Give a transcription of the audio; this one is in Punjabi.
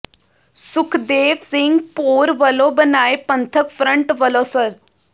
ਸੁਖਦੇਵ ਸਿੰਘ ਭੌਰ ਵਲੋਂ ਬਣਾਏ ਪੰਥਕ ਫਰੰਟ ਵਲੋਂ ਸ੍ਰ